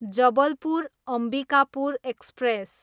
Jabalpur, Ambikapur express